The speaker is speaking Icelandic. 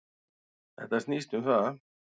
Þetta snýst um það.